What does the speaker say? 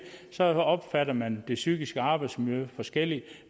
sagde opfatter man det psykiske arbejdsmiljø forskelligt